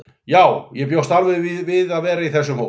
Já, ég bjóst alveg við að vera í þessum hóp.